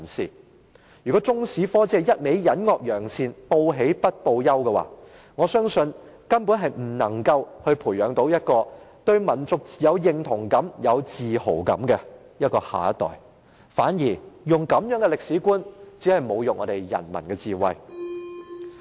因此，如果中史科只是隱惡揚善，報喜不報憂，我相信它根本無法培育出對民族有認同感和有自豪感的下一代，這種歷史觀反而只是侮辱人民的智慧。